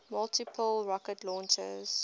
multiple rocket launchers